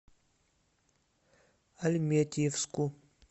альметьевску